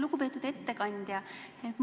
Lugupeetud ettekandja!